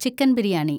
chicken biryani